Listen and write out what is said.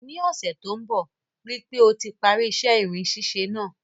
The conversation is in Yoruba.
Ní ọ́sẹ̀ to n bo, rípe o ti parí isẹ́ irin sísẹ náà